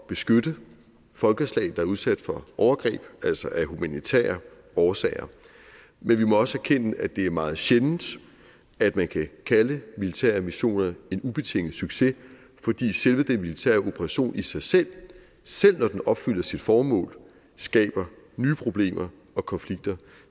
beskytte folkeslag er udsat for overgreb altså af humanitære årsager men vi må også erkende at det er meget sjældent at man kan kalde militære missioner en ubetinget succes fordi selve den militære operation i sig selv selv når den opfylder sit formål skaber nye problemer og konflikter